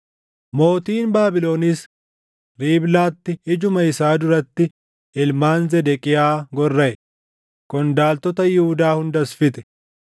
Mootiin Baabilonis Riiblaatti ijuma isaa duratti ilmaan Zedeqiyaa gorraʼe; qondaaltota Yihuudaa hundas fixe.